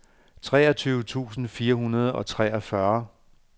treogtyve tusind fire hundrede og treogfyrre